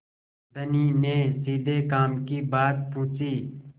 धनी ने सीधे काम की बात पूछी